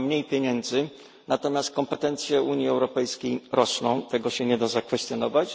Mamy mniej pieniędzy, natomiast kompetencje Unii Europejskiej rosną. Tego nie da się zakwestionować.